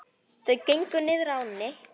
Þau gengu niður að ánni.